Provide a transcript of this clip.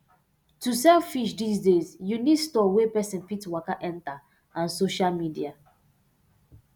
to sell fish these days you need store wey pesin fit waka enter and sosha media